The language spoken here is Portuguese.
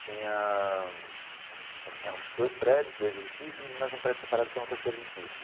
Tinha... são são eram dois prédios, dois edifícios e mais um prédio separado que era um terceiro edifício.